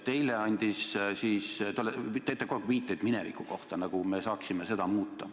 Te teete kogu aeg viiteid minevikule, nagu me saaksime seda muuta.